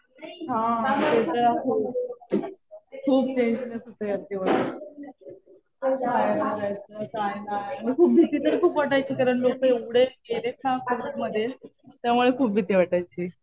हा. ते तर आहेच. खूप टेंशन येतं होतं एक दिवस. बाहेर नाही जायचं काही नाही. भीती तर खूप वाटायची कारण लोकं एवढे गेलेत ना कोविडमध्ये. त्यामुळे खूप भीती वाटायची.